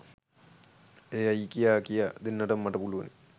ඒ ඇයි කියා කියා දෙන්නටත් මට පුළුවනි.